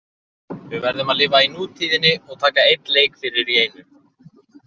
Við verðum að lifa í nútíðinni og taka einn leik fyrir í einu.